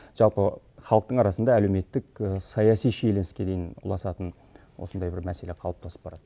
жалпы халықтың арасында әлеуметтік саяси шиеленіске дейін ұласатын осындай бір мәселе қалыптасып барады